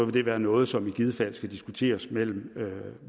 det være noget som i givet fald skal diskuteres mellem